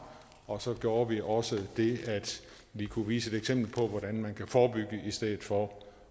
og så gjorde vi også det at vi kunne vise et eksempel på hvordan man kan forebygge i stedet for